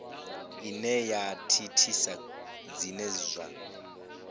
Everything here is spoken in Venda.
ine ya thithisa zwine zwa